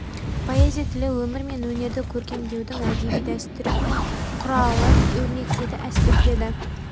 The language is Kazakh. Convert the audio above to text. поэзия тілі өмір мен өнерді көркемдеудің әдеби дәстүрі мен құралын өрнектеді әспеттеді